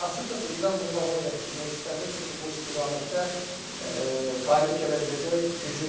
Açıqcası İran bunu davam elətdirmək istəmir, çünki bu istiqamətdə qalib gələ biləcək gücü yoxdur.